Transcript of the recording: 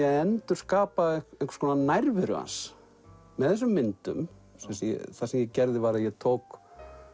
að endurskapa einhvers konar nærveru hans með þessum myndum það sem ég gerði var að ég tók